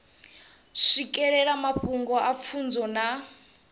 swikelela mafhungo nga pfunzo na